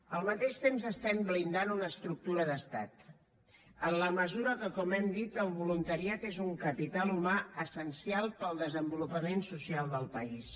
al mateix temps estem blindant una estructura d’estat en la mesura que com hem dit el voluntariat és un capital humà essencial per al desenvolupament social del país